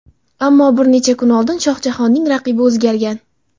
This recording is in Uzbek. Ammo bir necha kun oldin Shohjahonning raqibi o‘zgargan.